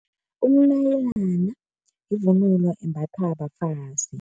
Umnayilana yivunulo embathwa bafazi.